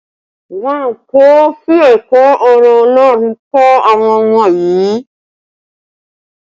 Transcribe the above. Wọn kò fi ẹ̀kọ́ ọ̀rọ̀ Ọlọ́run kọ́ àwọn ọmọ yii